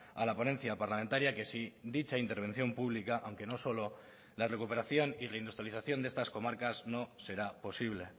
a la ponencia parlamentaria que si dicha intervención pública aunque no solo la recuperación y la industrialización de estas comarcas no será posible